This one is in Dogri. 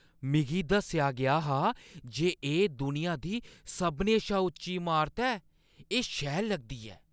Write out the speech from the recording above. मिगी दस्सेआ गेआ हा जे एह् दुनिया दी सभनें शा उच्ची इमारत ऐ। एह् शैल लगदी ऐ!